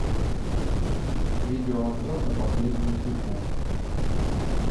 видео обзор на последнюю фифу